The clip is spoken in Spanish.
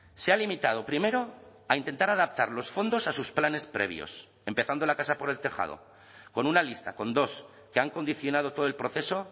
se ha limitado primero a intentar adaptar los fondos a sus planes previos empezando la casa por el tejado con una lista con dos que han condicionado todo el proceso